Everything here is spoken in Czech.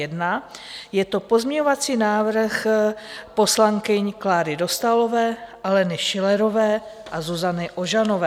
Je to pozměňovací návrh poslankyň Kláry Dostálové, Aleny Schillerové a Zuzany Ožanové.